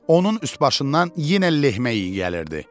Onun üst-başından yenə lehmə iyi gəlirdi.